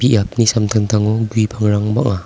biapni samtangtango gue pangrang bang·a.